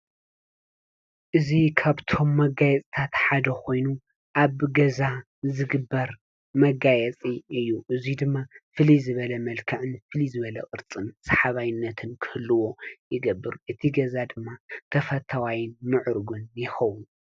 እዚይ ካብቶም መጋይፅታት ሓደ ኮይኑ ኣብ ገዛ ዝግበር መጋየፂ እዩ:: እዚድማ ፍሊይ ዝበለ መልክዕን ቅርፂን ሳሓባይነት ክህልዎ ይገብረ እቲ ገዛ ድማ ተፈታዋይ ወይ ምዕርግ ይከዉን::